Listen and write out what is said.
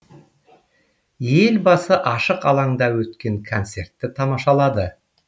елбасы ашық алаңда өткен концертті тамашалады